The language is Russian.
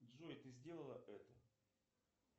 джой ты сделала это